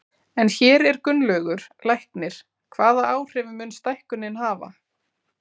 En hér er Gunnlaugur, læknir, hvaða áhrif mun stækkunin hafa?